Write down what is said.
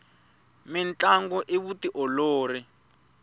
mintlangu i vutiolori